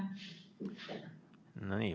No nii.